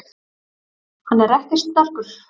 Hann er ekkert sterkur.